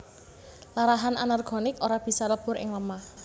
Larahan anorganik ora bisa lebur ing lemah